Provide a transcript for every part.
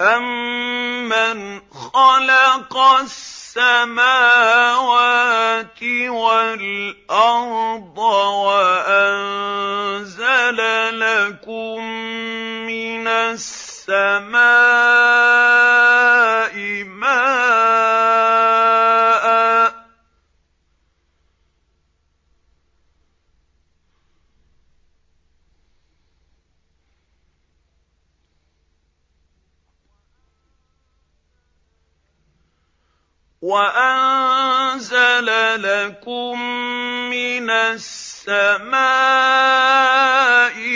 أَمَّنْ خَلَقَ السَّمَاوَاتِ وَالْأَرْضَ وَأَنزَلَ لَكُم مِّنَ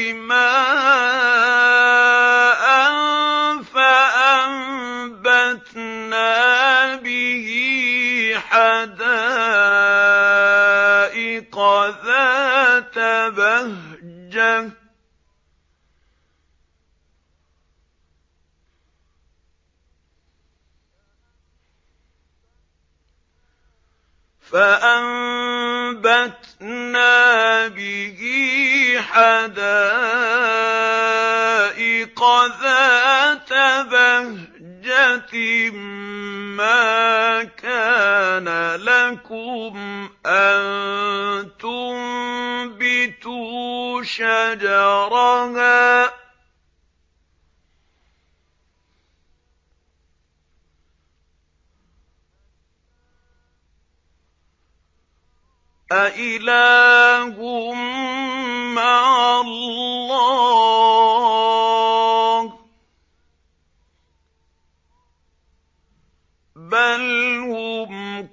السَّمَاءِ مَاءً فَأَنبَتْنَا بِهِ حَدَائِقَ ذَاتَ بَهْجَةٍ مَّا كَانَ لَكُمْ أَن تُنبِتُوا شَجَرَهَا ۗ أَإِلَٰهٌ مَّعَ اللَّهِ ۚ بَلْ هُمْ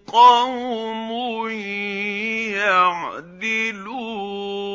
قَوْمٌ يَعْدِلُونَ